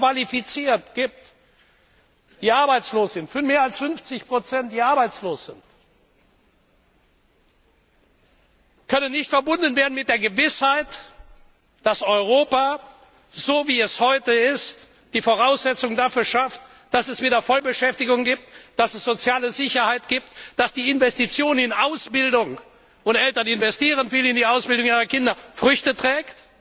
hoch qualifizierter junger Männer und Frauen arbeitslos sind, können nicht verbunden werden mit der Gewissheit, dass Europa, so wie es heute ist, die Voraussetzung dafür schafft, dass es wieder Vollbeschäftigung gibt, dass es soziale Sicherheit gibt, dass die Investitionen in Ausbildung und Eltern investieren viel in die Ausbildung ihrer Kinder Früchte tragen.